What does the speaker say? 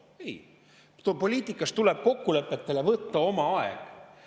Ei, poliitikas tuleb kokkulepete tegemiseks võtta oma aeg.